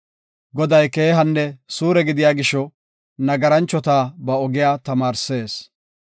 Goday keehanne suure gidiya gisho; nagaranchota ba ogiya tamaarsees.